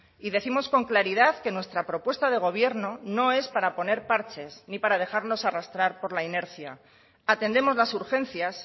y décimos con claridad que nuestra propuesta de gobierno no es para poner parches ni para dejarnos arrastrar por la inercia atendemos las urgencias